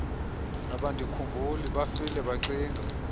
abandikhumbuli bafile bacinga